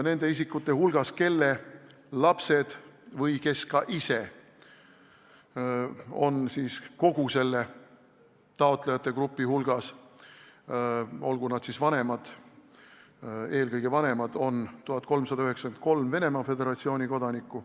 Nende isikute hulgas, kelle lapsed või kes ise kuuluksid sellesse taotlejate gruppi – eelkõige on tegu siiski lastevanematega –, on 1393 Venemaa Föderatsiooni kodanikku.